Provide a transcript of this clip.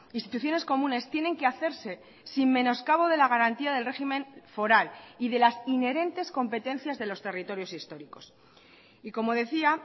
instituciones comunes tienen que hacerse sin menoscabo de la garantía del régimen foral y de las inherentes competencias de los territorios históricos y como decía